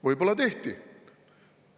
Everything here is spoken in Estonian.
Võib-olla tehti.